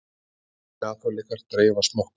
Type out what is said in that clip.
Svissneskir kaþólikkar dreifa smokkum